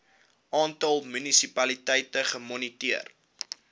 aantal munisipaliteite gemoniteer